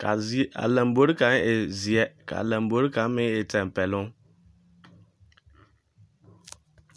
kaa z a lambori kaŋa e zeɛ kaa lambori kaŋa meŋ e tampɛloŋ